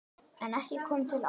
En ekki kom til átaka.